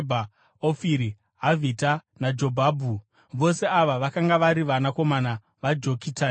Ofiri, Havhira naJobhabhi. Vose ava vakanga vari vanakomana vaJokitani.